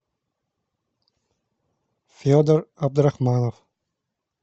федор абдурахманов